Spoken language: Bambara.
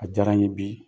A diyara n ye bi